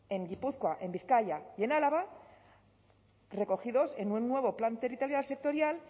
en gipuzkoa en bizkaia y en álava recogidos en un nuevo plan territorial sectorial